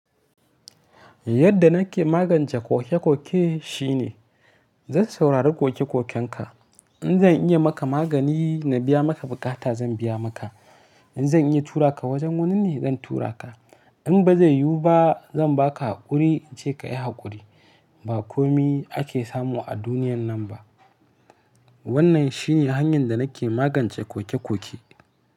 Yadda nake magance koke koke shine zan saurari koke kokenka. In zan iya maka magani na biya maka bukata zan biya maka. Zan iya tura ka wajen wani ne zan tura ka. In ba zai yiwu ba zan ba ka haƙuri in ce ka yi haƙuri. Ba komai ake samu a duniyar nan ba. Wannan shi ne hanyar da nake magance koke koke.